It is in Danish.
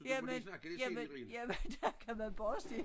Jamen jamen jamen dér kan man bare se